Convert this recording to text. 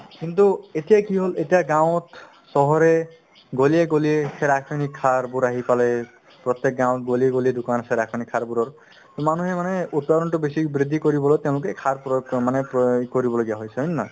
কিন্তু এতিয়াই কি হ'ল এতিয়া গাঁৱত চহৰে গলিয়ে গলিয়ে সেই ৰাসয়নিক সাৰবোৰ আহি পালে প্ৰত্যেক গাঁৱত গলিয়ে গলিয়ে দোকান আছে ৰাসয়নিক সাৰবোৰৰ মানুহে মানে উৎপাদনতো বেছি বৃদ্ধি কৰিবলৈ তেওঁলোকে এই সাৰ প্ৰয়োগ অ মানে প্ৰ~প্ৰয়োগ কৰিবলগীয়া হৈছে হয় নে নহয়